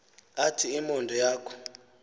athi imundo yakhe